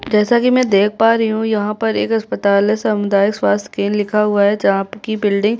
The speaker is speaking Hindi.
जैसा कि मैं देख पा रही हूँ यहाँ पर एक अस्पताल है सामुदायिक स्वास्थ्य केंद्र लिखा हुआ है जहाँ की बिल्डिंग --